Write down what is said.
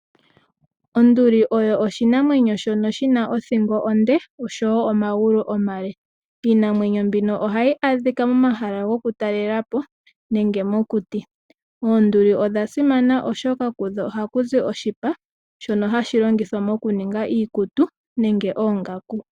Onduli oyo oshinamwenyo shono shi na othingo onde osho woo omagulu omale. Iinamwenyo mbino oha yi adhika momahala goku talela po nenge mokuti. Oonduli odha simana oshoka kudho oha ku zi oshipa shono hashi longithwa mokuninga iikutu nenge oongaku